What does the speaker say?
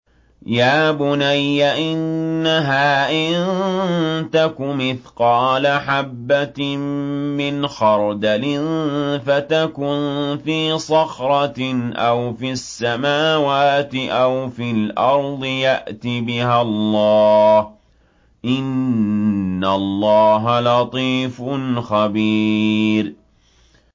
يَا بُنَيَّ إِنَّهَا إِن تَكُ مِثْقَالَ حَبَّةٍ مِّنْ خَرْدَلٍ فَتَكُن فِي صَخْرَةٍ أَوْ فِي السَّمَاوَاتِ أَوْ فِي الْأَرْضِ يَأْتِ بِهَا اللَّهُ ۚ إِنَّ اللَّهَ لَطِيفٌ خَبِيرٌ